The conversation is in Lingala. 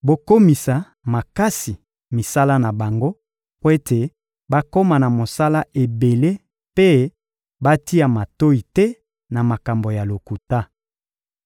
Bokomisa makasi misala na bango mpo ete bakoma na mosala ebele mpe batia matoyi te na makambo ya lokuta.